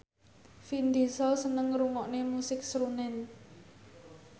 Vin Diesel seneng ngrungokne musik srunen